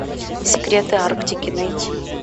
секреты арктики найти